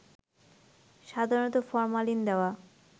সাধারণত ফরমালিন দেওয়া